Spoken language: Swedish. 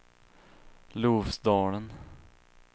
Lofsdalen